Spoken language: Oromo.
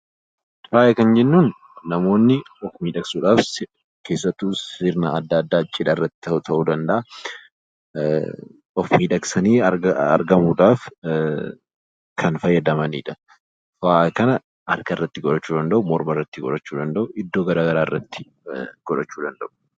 Faaya jechuun namoonni of miidhagsuuf sirna addaa addaa irratti keessattuu cidha irratti ta'uu danda'a, of miidhagsanii argamuudhaaf, kan fayyadamanidha. Faaya kana harka irratti godhachuu danda'u, morma irratti godhachuu danda'u iddoo garaagaraa irratti godhachuu danda'u.